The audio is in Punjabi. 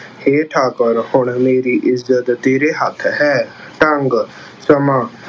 ਹੇ ਠਾਕੁਰ, ਹੁਣ ਮੇਰੀ ਇੱਜ਼ਤ ਤੇਰੇ ਹੱਥ ਹੈ। ਡੰਗ-ਸਮਾਂ-